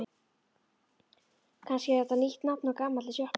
Kannski er þetta nýtt nafn á gamalli sjoppu?